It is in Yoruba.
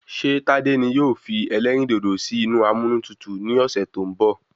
Ṣé tádé ni yóò fi elérìndòdò sì inú amúnútutù ni ọsẹ tó n bọ?